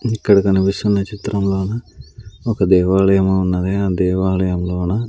ఇక్కడ కనిపిస్తున్న చిత్రంలోన ఒక దేవాలయం ఉన్నది ఆ దేవాలయంలోన.